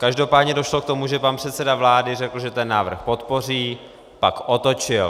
Každopádně došlo k tomu, že pan předseda vlády řekl, že ten návrh podpoří, pak otočil.